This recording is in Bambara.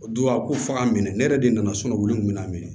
O don a ko f'a ka minɛ ne yɛrɛ de nana wili n kun bɛna minɛ